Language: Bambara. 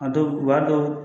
A dɔw u b'a dɔw